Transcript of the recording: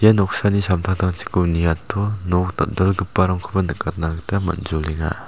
ia noksani samtangtangchiko niato nok dal·dalgiparangkoba nikatna gita man·jolenga.